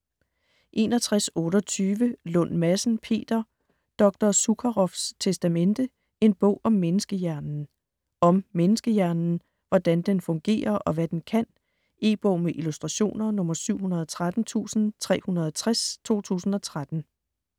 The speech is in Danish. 61.28 Lund Madsen, Peter: Dr. Zukaroffs testamente: en bog om menneskehjernen Om menneskehjernen. Hvordan den fungerer og hvad den kan. E-bog med illustrationer 713360 2013.